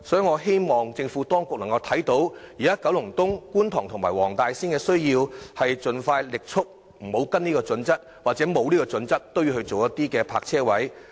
我希望當局鑒於現時九龍東、觀塘及黃大仙的需要，盡快放棄遵循《規劃標準》，按實際需要加設泊車位。